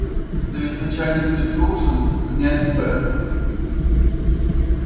да ведь начальник петрушин князь б